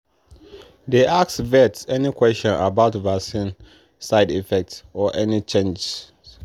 dey ask vet any question about vaccine side effect or any changes.